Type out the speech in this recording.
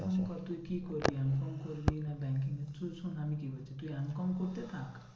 কর তুই কি করবি? M com করবি না banking কি শোন আমি কি বলছি তুই M com করতে থাক।